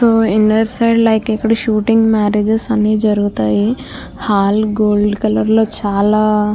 Inner side like ఇక్కడ shootings marriages అన్నీ జరుగుతాయి. హాల్ గోల్డ్ కలర్ లో చాలా --